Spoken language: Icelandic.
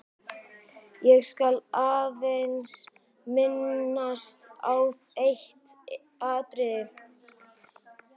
Ég skal aðeins minnast á eitt atriði.